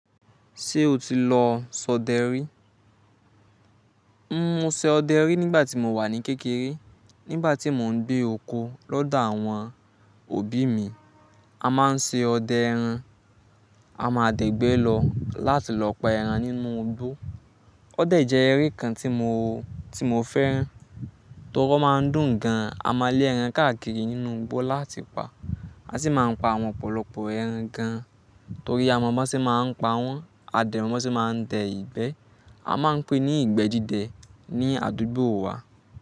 Ṣé o ti lọ sọ dẹ́ rí? Ǹ mo ṣe ọdẹ rí nígbà tí mo wà ní kékeré. Nígbà tí mò ń gbé oko lọ́dọ̀ àwọn òbí mi, a máa ń ṣe ọdẹ ẹran. A máa dẹ̀gbẹ́ lọ láti lọ pa ẹran nínú igbó. Ọdẹ jẹ́ eré kan tí mo, tí mo fẹ́ràn torí ó máa ń dùn gan. A máa lé ẹran káàkiri nínú igbó láti pa. A sì máa ń pa àwọn ọ̀pọ̀lọpọ̀ ẹran gan torí àwọn ọmọ sì máa ń pa wọ́n, àdènà wọn sì máa ń dẹ ìgbẹ́. A máa ń pè é ní ìgbẹ́ dide ní àdúgbò wa.